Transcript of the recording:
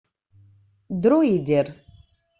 друидер